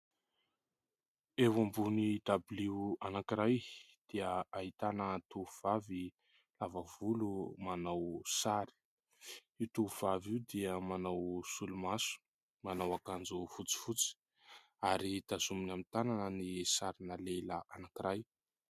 Eo ambony dabilio anankiray dia ahitana tovovavy lava volo manao sary, io tovovavy io dia manao solomaso, manao akanjo fotsifotsy ary tazominy amin'ny tanana ny sarina lehilahy anankiray.